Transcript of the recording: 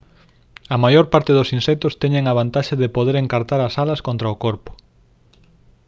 a maior parte dos insectos teñen a vantaxe de poder encartar as alas contra o corpo